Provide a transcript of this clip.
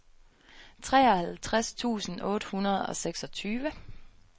treoghalvtreds tusind otte hundrede og seksogtyve